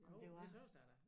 Jo de tøs det da